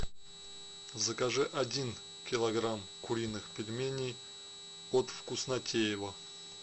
закажи один килограмм куриных пельменей от вкуснотеево